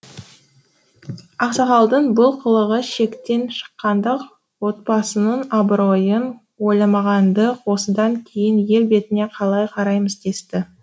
ақсақалдың бұл қылығы шектен шыққандық отбасының абыройын ойламағандық осыдан кейін ел бетіне қалай қараймыз десті